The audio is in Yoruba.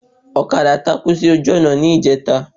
Ọ̀kadà takú sí ojú ònà ní ìjẹta